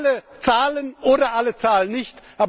Alle zahlen, oder alle zahlen nicht.